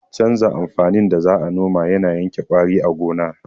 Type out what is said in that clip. Canza amfanin da za a noma yana yanke ƙwari a gona